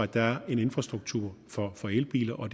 der er en infrastruktur for elbiler og